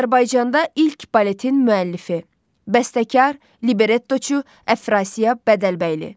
Azərbaycanda ilk baletin müəllifi: Bəstəkar, Librettoçu Əfrasiya Bədəlbəyli.